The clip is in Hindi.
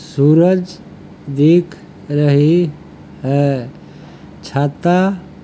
सूरज दिख रही है छाता --